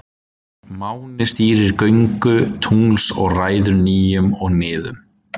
Máni stýrir göngu tungls og ræður nýjum og niðum.